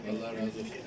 Allah razı olsun.